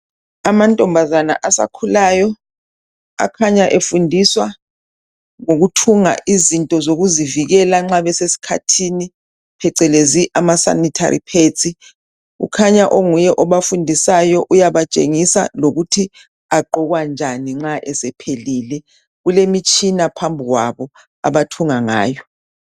Amantombazana asakhulayo akhanya efundiswa ngokuthunga izinto zokuzivikela nxa besesikhathini phecelezi ama sanitary pads kukhanya okunguye obafundisayo uyabatshengisa lokuthi agqokwa njani nxa esephelile Kulemtshina phambi kwabo abathunga ngayo